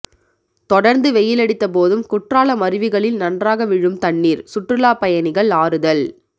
தொடர்ந்து வெயிலடித்த போதும் குற்றாலம் அருவிகளில் நன்றாக விழும் தண்ணீர் சுற்றுலா பயணிகள் ஆறுதல்